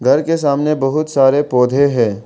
घर के सामने बहुत सारे पौधे हैं।